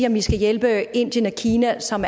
om vi skal hjælpe indien og kina som